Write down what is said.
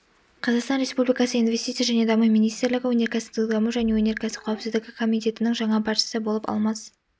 қазақстан республикасы инвестиция және даму министрлігі өнеркәсіптік даму және өнеркәсіп қауіпсіздігі комитетінің жаңа басшысы болып алмас